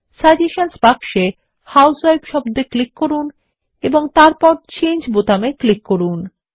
সাজেশনসহ বাক্সে হাউসউইফ শব্দ এ ক্লিক করুন এবং তারপর চেঞ্জ বোতামে ক্লিক করুন